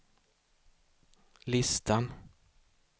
listan